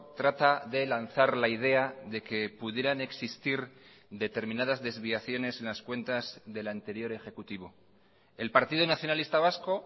trata de lanzar la idea de que pudieran existir determinadas desviaciones en las cuentas del anterior ejecutivo el partido nacionalista vasco